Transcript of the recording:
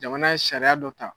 Jamana ye sariya dɔ ta